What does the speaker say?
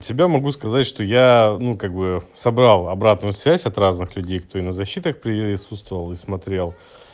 от себя могу сказать что я ну как бы собрал обратную связь от разных людей которые на защитах присутствовал и смотрел